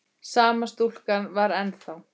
Sama stúlkan var þar ennþá.